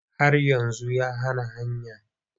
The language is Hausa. Har yanzu yana hanya.